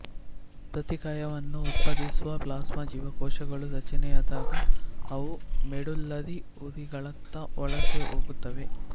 ಪ್ರತಿಕಾಯವನ್ನು ಉತ್ಪಾದಿಸುವ ಪ್ಲಾಸ್ಮಾ ಜೀವಕೋಶಗಳು ರಚನೆಯಾದಾಗ ಅವು ಮೆಡುಲ್ಲರಿ ಹುರಿಗಳತ್ತ ವಲಸೆ ಹೋಗುತ್ತವೆ